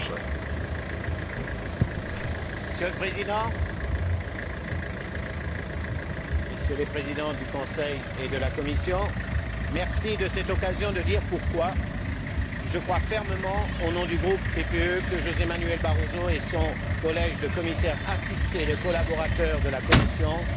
Monsieur le Président, Messieurs les Présidents du Conseil et de la Commission, je vous remercie de me donner l'occasion de dire pourquoi je crois fermement, au nom du groupe PPE, que José Manuel Barroso et son collège de commissaires, assistés de collaborateurs de la Commission, seront à la hauteur des enjeux.